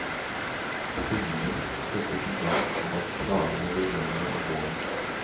Syngingen settes i gang av at dagene blir lengre om våren.